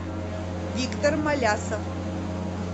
виктор малясов